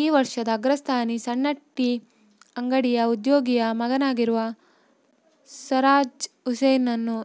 ಈ ವರ್ಷದ ಅಗ್ರಸ್ಥಾನಿ ಸಣ್ಣ ಟೀ ಅಂಗಡಿಯ ಉದ್ಯೋಗಿಯ ಮಗನಾಗಿರುವ ಸರ್ರಾಜ್ ಹುಸೈನ್ನನ್ನು